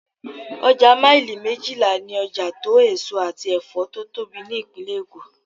Ọjà maili méjìlá ni ọjà tó èso àti Ẹ̀fọ́ tó tóbi ní Ìpínlẹ̀ èkó.